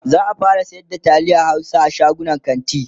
za'a fara sayar da taliyan Hausa a shagunan kanti